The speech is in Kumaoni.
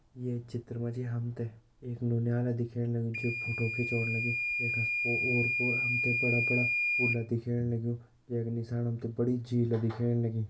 ये चित्र मा जी हम तें एक नौनियाल दिखेण लग्युं जो फोटो खींचोंण लग्युं वै का ओर पोर हम तें बड़ा बड़ा पुल दिखेण लग्युं जै का नीसाण बड़ी झील दिखेण लगीं।